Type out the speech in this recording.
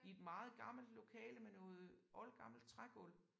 I et meget gammelt lokale med noget oldgammelt trægulv